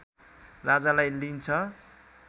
राजालाई लिइन्छ